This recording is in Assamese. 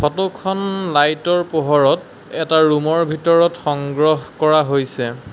ফটোখন লাইটৰ পোহৰত এটা ৰুমৰ ভিতৰত সংগ্ৰহ কৰা হৈছে।